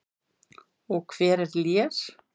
Og hver er Lér?